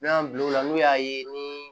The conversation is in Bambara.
N'an y'an bila o la n'u y'a ye ni